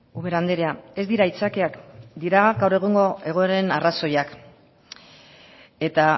ubera andrea ez dira aitzakiak dira gaur egungo egoeren arrazoiak eta